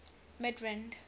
midrand